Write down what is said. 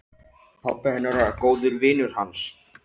Pabbi hennar er góður vinur hans.